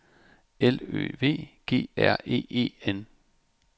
L Ø V G R E E N